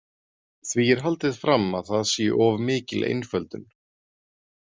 Því er haldið fram að það sé of mikil einföldun.